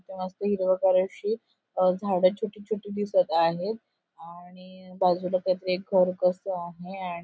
मस्त हिरवीगार अशी अ झाड छोटी छोटी दिसत आहेत आणि बाजूला काहीतरी एक घर कस आहे अँन्ड --